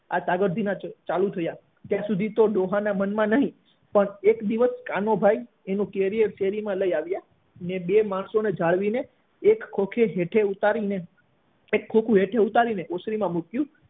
આ તાકડ ધીના ચાલુ થયા ત્યાં સુધી ડોહા ના મન માં કઈ નહી પણ એક દિવસ કાનો ભાઈ એનું carrier શેરી માં લઇ આવ્યા અને બે માણસો ને જાળવી ને એક ખોખે નીચે ઉતારીને એક ખોખું નીચે ઉતારી ને ઓસની માં મૂક્યું